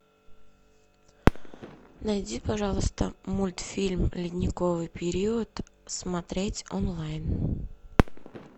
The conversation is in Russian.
найди пожалуйста мультфильм ледниковый период смотреть онлайн